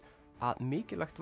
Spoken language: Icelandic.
væri mikilvægt